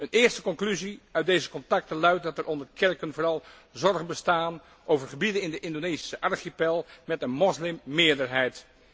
Een eerste conclusie uit deze contacten luidt dat er onder de kerken vooral zorgen bestaan over gebieden in de Indonesische archipel met een moslimmeerderheid.